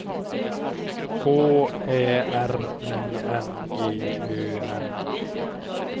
K Ä R I N G Ö N